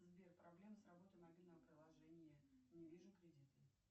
сбер проблема с работой мобильного приложения не вижу кредиты